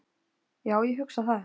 Já, ég hugsa það.